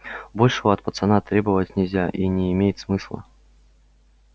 большего от пацана требовать нельзя и не имеет смысла